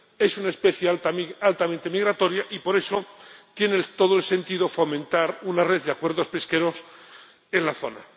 es una especie altamente migratoria y por eso tiene todo el sentido fomentar una red de acuerdos pesqueros en la zona.